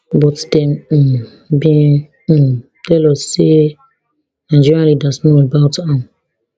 but dem um bin um tell us say nigerian leaders know about am